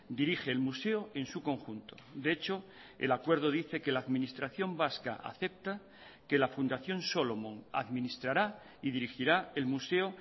dirige el museo en su conjunto de hecho el acuerdo dice que la administración vasca acepta que la fundación solomon administrará y dirigirá el museo